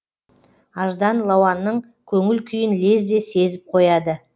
аждан лауанның көңіл күйін лезде сезіп қояды